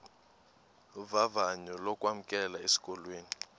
vavanyo lokwamkelwa esikolweni